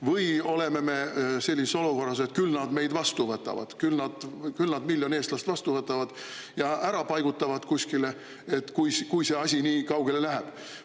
Või on meil selline, et küll nad meid vastu võtavad, küll nad miljon eestlast vastu võtavad ja kuskile ära paigutavad, kui see asi nii kaugele läheb?